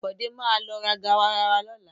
Bọ̀dé má lọ ra garawa lọ́la.